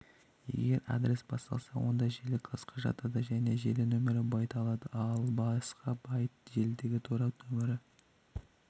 егер адрес басталса онда желі класқа жатады және желі нөмірі байт алады ал басқа байт желідегі торап нөмірі